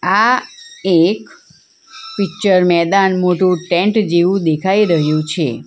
આ એક પિક્ચર મેદાન મોટું ટેન્ટ જેવું દેખાઈ રહ્યું છે.